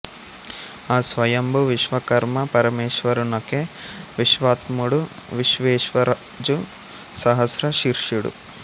ఆ స్వయంభూ విశ్వకర్మ పరమేశ్వరునకే విశ్వాత్ముడు విశ్వేశ్వరుజు సహస్ర శిర్షుడు